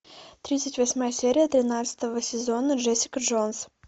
тридцать восьмая серия тринадцатого сезона джессика джонс